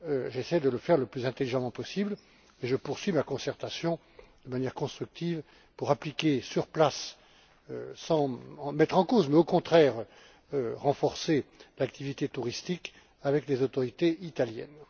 J'essaie de le faire le plus intelligemment possible et je poursuis mes concertations, de manière constructive, pour l'appliquer sur place sans le remettre en cause mais, au contraire, en renforçant l'activité touristique avec les autorités italiennes.